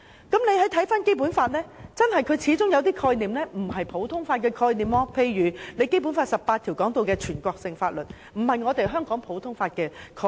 《基本法》當中始終有一些概念並非普通法的概念，例如《基本法》第十八條提到的"全國性法律"便並非香港普通法的概念。